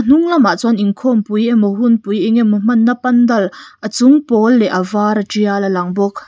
hnung lamah chuan inkhawmoui emaw hunpui engemaw hmanna pandal a chung pawl leh a vara tial a lang bawk.